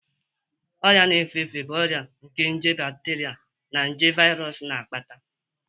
Ọrịa na-efe efe bụ ọrịa nke nje bateria na nje viros na-akpata.